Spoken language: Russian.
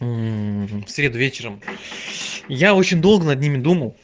мм в среду вечером я очень долго над ними думал